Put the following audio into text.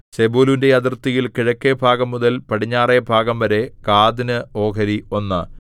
സെബൂലൂന്റെ അതിർത്തിയിൽ കിഴക്കേഭാഗംമുതൽ പടിഞ്ഞാറെ ഭാഗംവരെ ഗാദിന് ഓഹരി ഒന്ന്